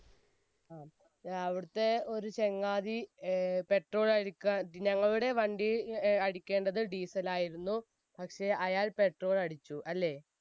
അവിടത്തെ ഒരു ചങ്ങാതി ഏർ petrol അടിക്കാൻ, ഞങ്ങളുടെ വണ്ടിയിൽ അടിക്കേണ്ടത് diesel ആയിരുന്നു. പക്ഷെ അയാൾ petrol അടിച്ചു, അല്ലെ?